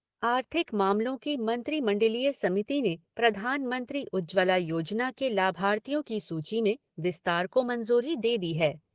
आर्थिक मामलों की मंत्रिमंडलीय समिति ने प्रधानमंत्री उज्ज्वला योजना के लाभार्थियों की सूची में विस्तार को मंजूरी दे दी है।